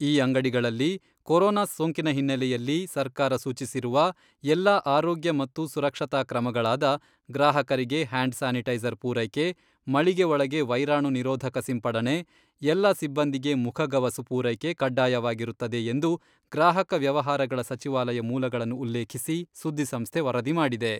ಈ ಅಂಗಡಿಗಳಲ್ಲಿ ಕೊರೊನಾ ಸೋಂಕಿನ ಹಿನ್ನೆಲೆಯಲ್ಲಿ ಸರ್ಕಾರ ಸೂಚಿಸಿರುವ ಎಲ್ಲ ಆರೋಗ್ಯ ಮತ್ತು ಸುರಕ್ಷತಾ ಕ್ರಮಗಳಾದ ಗ್ರಾಹಕರಿಗೆ ಹ್ಯಾಂಡ್ ಸ್ಯಾನಿಟೈಜರ್ ಪೂರೈಕೆ, ಮಳಿಗೆ ಒಳಗೆ ವೈರಾಣು ನಿರೋಧಕ ಸಿಂಪಡಣೆ, ಎಲ್ಲ ಸಿಬ್ಬಂದಿಗೆ ಮುಖಗವಸು ಪೂರೈಕೆ ಕಡ್ಡಾಯವಾಗಿರುತ್ತದೆ ಎಂದು ಗ್ರಾಹಕ ವ್ಯವಹಾರಗಳ ಸಚಿವಾಲಯ ಮೂಲಗಳನ್ನು ಉಲ್ಲೇಖಿಸಿ ಸುದ್ದಿ ಸಂಸ್ಥೆ ವರದಿ ಮಾಡಿದೆ.